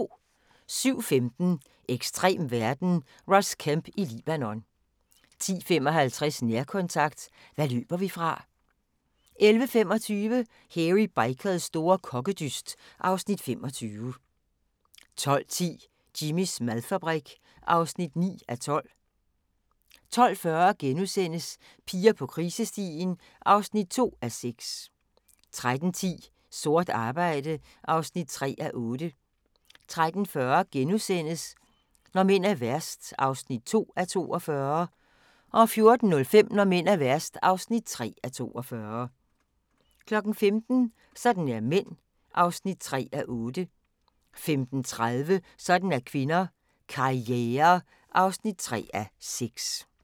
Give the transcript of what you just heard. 07:15: Ekstrem verden – Ross Kemp i Libanon 10:55: Nærkontakt – hvad løber vi fra? 11:25: Hairy Bikers store kokkedyst (Afs. 25) 12:10: Jimmys madfabrik (9:15) 12:40: Piger på krisestien (2:6)* 13:10: Sort arbejde (3:8) 13:40: Når mænd er værst (2:42)* 14:05: Når mænd er værst (3:42) 15:00: Sådan er mænd (3:8) 15:30: Sådan er kvinder – Karriere (3:6)